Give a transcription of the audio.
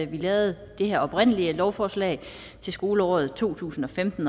vi lavede det her oprindelige lovforslag til skoleåret to tusind og femten